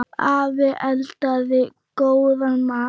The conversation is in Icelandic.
Afi eldaði góðan mat.